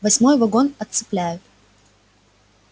восьмой вагон отцепляют